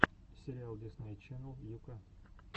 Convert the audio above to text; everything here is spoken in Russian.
сериал дисней ченнел ю ка